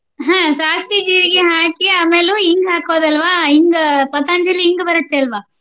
ಹ್ಮ ಸಾಸ್ವಿ, ಜೀರ್ಗಿ ಹಾಕಿ ಅಮೇಲು ಇಂಗ್ ಹಾಕೋದ ಅಲ್ವಾ ಇಂಗ್ Patanjali ಇಂಗ್ ಬರುತ್ತೆ ಅಲ್ವಾ?